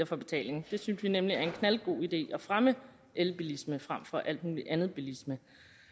for betaling vi synes nemlig det er en knaldgod idé at fremme elbilisme frem for al mulig anden bilisme